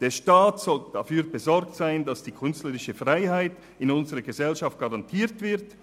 Der Staat soll dafür besorgt sein, dass die künstlerische Freiheit in unserer Gesellschaft garantiert wird;